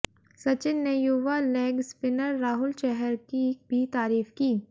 सचिन ने युवा leg spinner Rahul Chahar की भी तारीफ की